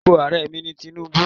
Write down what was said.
Orúkọ Ààrẹ mi ni Tinubu